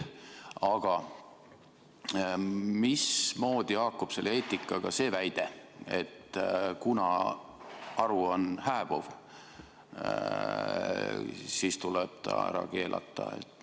Aga mismoodi haakub selle eetikaga väide, et kuna haru on hääbuv, siis tuleb ta ära keelata?